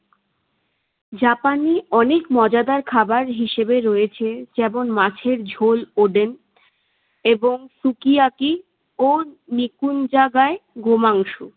জাপানি অনেক মজাদার খাবার হিসেবে রয়েছে যেমন মাছের ঝোল ওডেন এবং সুকিয়াকি ও নিকুঞ্জাগায় গো মাংস।